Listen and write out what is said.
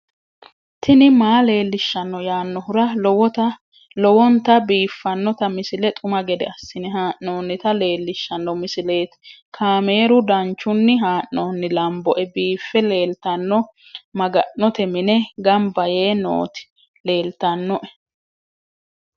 tini maa leelishshanno yaannohura lowonta biiffanota misile xuma gede assine haa'noonnita leellishshanno misileeti kaameru danchunni haa'noonni lamboe biiffe leeeltanno maga'note mine gambayee nooti leeltannoe